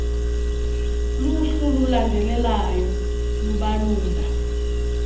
luhlu lulandelalyo lubalula